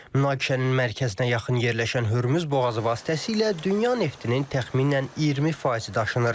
Münaqişənin mərkəzinə yaxın yerləşən Hörmüz boğazı vasitəsilə dünya neftinin təxminən 20 faizi daşınır.